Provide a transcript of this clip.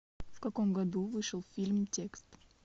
в каком году вышел фильм текст